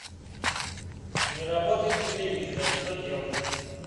не работает телевизор что делать